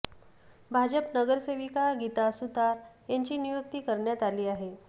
भाजप नगरसेविका गीता सुतार यांची नियुक्ती करण्यात आली आहे